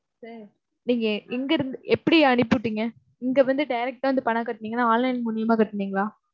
sir நீங்க எங்கிருந்து எப்படி அனுப்பிவிட்டீங்க? இங்க வந்து direct ஆ வந்து பணம் கட்டுனீங்களா, online மூலியமா கட்டுனீங்களா?